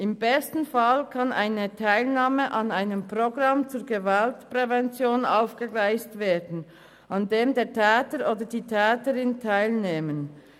Im besten Fall kann die Teilnahme an einem Programm zur Gewaltprävention aufgegleist werden, an dem der Täter oder die Täterin teilnimmt.